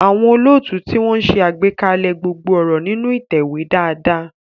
Àwọn olóòtú tí wọ́n ń ṣe àgbékalẹ̀ gbogbo ọ̀rọ̀ nínú ìtẹ̀wé dáadáa.